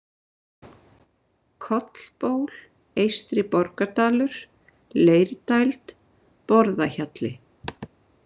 Kollból, Eystri-Borgardalur, Leirdæld, Borðahjalli